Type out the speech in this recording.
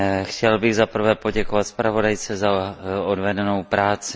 Chtěl bych za prvé poděkovat zpravodajce za odvedenou práci.